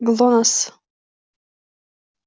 глонассс